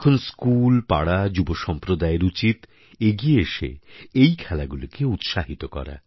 এখন স্কুল পাড়া যুবসম্প্রদায়য়ের উচিত এগিয়ে এসে এই খেলাগুলিকে উৎসাহিত করা